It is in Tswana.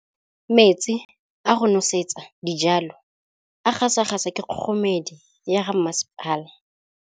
Metsi a go nosetsa dijalo a gasa gasa ke kgogomedi ya masepala.